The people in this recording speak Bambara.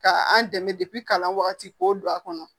Ka an dɛmɛ kalan wagati k'o don a kɔnɔ